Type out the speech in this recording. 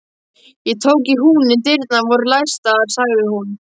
Ég tók í húninn, dyrnar voru læstar, sagði hún.